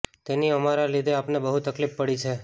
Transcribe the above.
તેથી અમારા લીધે આપને બહુ તકલીફ પડી છે